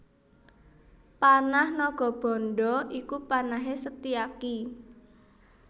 Panah Nagabandha iku panahé Setyaki